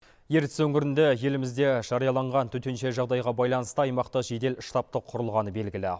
ертіс өңірінде елімізде жарияланған төтенше жағдайға байланысты аймақты жедел штатты құрылғаны белгілі